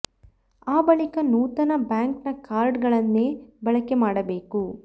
ಆ ಬಳಿಕ ನೂತನ ಬ್ಯಾಂಕ್ ನ ಕಾರ್ಡ್ ಗಳನ್ನೇ ಬಳಕೆ ಮಾಡಬೇಕು